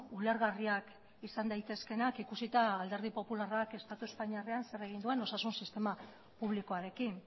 ulergarriak izan daitezkeenak ikusita alderdi popularrak estatu espainiarrean zer egin duen osasun sistema publikoarekin